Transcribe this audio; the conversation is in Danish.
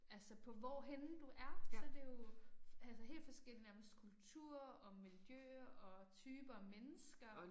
Altså på hvorhenne du er så det jo altså helt forskellig nærmest kultur og miljø og typer af mennesker